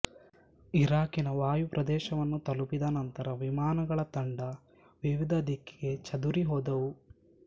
ಇರಾಕಿನ ವಾಯುಪ್ರದೇಶವನ್ನು ತಲುಪಿದ ನಂತರ ವಿಮಾನಗಳ ತಂಡ ವಿವಿಧ ದಿಕ್ಕಿಗೆ ಚದುರಿಹೋದವು